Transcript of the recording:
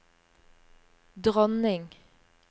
dronning